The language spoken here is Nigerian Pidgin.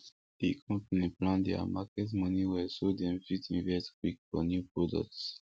the company plan their market money well so dem fit invest quick for new products